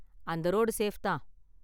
அந்த road safe தான்.